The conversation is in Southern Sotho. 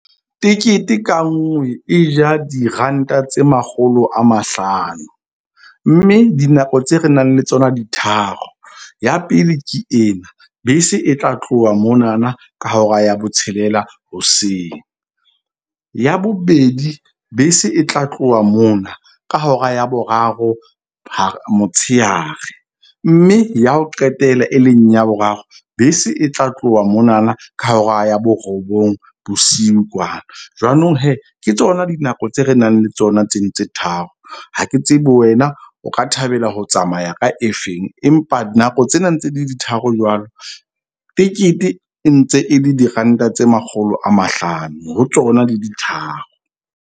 Tekete ka nngwe e ja diranta tse makgolo a mahlano. Mme dinako tse re nang le tsona di tharo. Ya pele, ke ena, bese e tla tloha monana ka hora ya botshelela hoseng. Ya bobedi, bese e tla tloha mona ka hora ya boraro motshehare. Mme ya ho qetela e leng ya boraro bese e tla tloha monana ka hora ya borobong bosiu kwana. Jwanong ke tsona dinako tse re nang le tsona tseno tse tharo. Ha ke tsebe wena o ka thabela ho tsamaya ka efeng, empa nako tsena ntse le di tharo jwalo tikete e ntse e le diranta tse makgolo a mahlano ho tsona di le tharo.